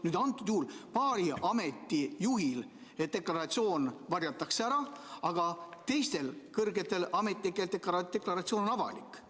Kuid antud juhul on nii, et paari ameti juhil varjatakse deklaratsioon ära, aga teistel kõrgetel ametnikel on deklaratsioon avalik.